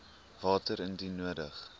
water indien nodig